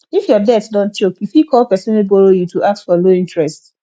if your debt don choke you fit call person wey borrow you to ask for low interest